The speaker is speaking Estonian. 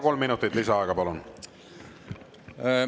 Kolm minutit lisaaega, palun!